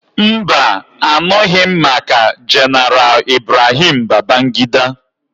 Mba, a nụghị m maka Jeneral Ibrahim Babangida.